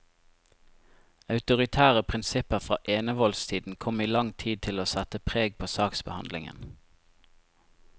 Autoritære prinsipper fra enevoldstiden kom i lang tid til å sette preg på saksbehandlingen.